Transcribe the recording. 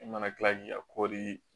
E mana kila k'i ka kɔɔri